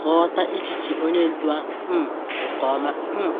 ka ọ ghọta echiche onye ndu ahụ um nke ọma. um